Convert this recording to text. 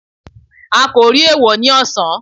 a ko ri eewọ ni ọsan.